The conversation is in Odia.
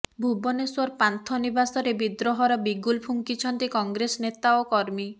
ଭୁବନେଶ୍ବର ପାନ୍ଥ ନିବାସରେ ବିଦ୍ରୋହର ବିଗୁଲ୍ ଫୁଙ୍କିଛନ୍ତି କଂଗ୍ରେସ ନେତା ଓ କର୍ମୀ